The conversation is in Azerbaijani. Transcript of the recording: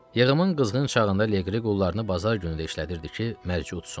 Yığımın qızğın çağında Leqri qullarını bazar günü də işlədirdi ki, mərci udsun.